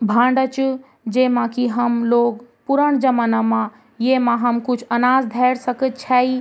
भांडा च जेमा की हम लोग पूरण जमन मा येमा हम कुछ अनाज धेर सकद छाई ।